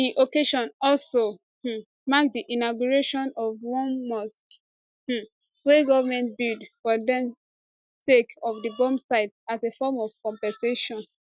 di occasion also um mark di inauguration of one mosque um wey goment build for dem sake of di bomb site as a form of compensation